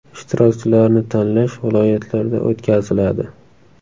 Ishtirokchilarni tanlash viloyatlarda o‘tkaziladi.